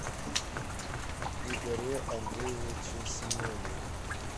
игоре андреевиче семенове